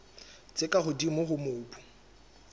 tse ka hodimo tsa mobu